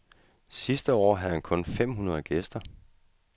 Sidste år havde han kun fem hundrede gæster.